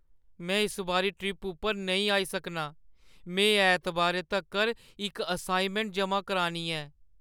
में इस बारी ट्रिप उप्पर नेईं आई सकनां। में ऐतबारै तक्कर इक असाइनमैंट जमा करानी ऐ।